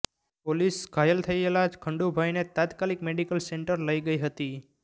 police ઘાયલ થયેલા ખંડુભાઇને તાત્કાલિક મેડિકલ સેન્ટર લઈ ગઈ હતી